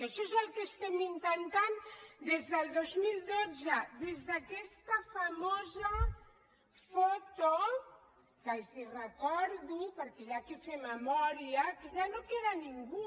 això és el que intentem des del dos mil dotze des d’aquesta famosa foto de què els recordo perquè s’ha de fer memòria que ja no queda ningú